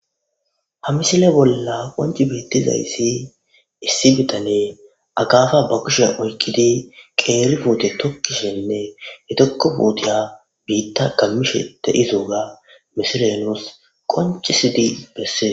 Ha misile bolla qonci beettizayssi issi bitane agaafa ba kushe oykkidi qeeri puute tokkishenne he tokko puutiya biitta gammishete izuuga misirenos qoncisidi besse.